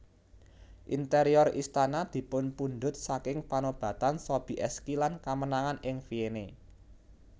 Interior Istana dipunpundhut saking panobatan Sobieski lan kamenangan ing Vienne